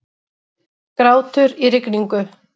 Grátur í rigningu.